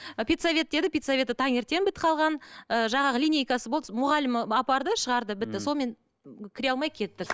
ы педсовет деді педсоветі таңертең бітіп қалған ы жаңағы линейкасы болды мұғалімі апарды шығарды бітті сонымен кіре алмай кеттік